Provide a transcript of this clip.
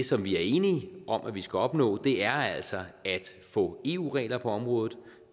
som vi er enige om at vi skal opnå er altså at få eu regler på området